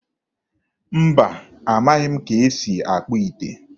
Mba, amaghị m ka esi akpụ ite.